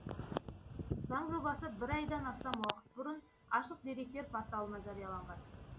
заң жобасы бір айдан астам уақыт бұрын ашық деректер порталына жарияланған